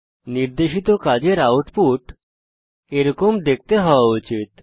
নির্দেশিত কাজের আউটপুট এরকম দেখতে হওয়া উচিত